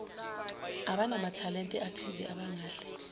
abanamathalente athize abangahle